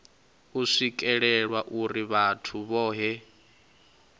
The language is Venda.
u swikelelwa uri vhathu vhohe